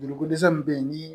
Joli ko dɛsɛ min be yen ni